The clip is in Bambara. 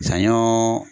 Saɲɔ